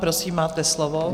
Prosím, máte slovo.